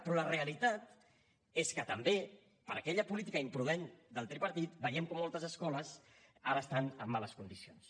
però la realitat és que també per aquella política imprudent del tripartit veiem com moltes escoles ara estan en males condicions